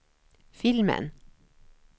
filmen